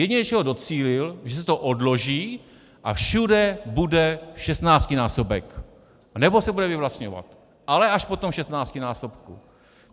Jediné, čeho docílil, že se to odloží a všude bude 16násobek, anebo se bude vyvlastňovat, ale až po tom 16násobku.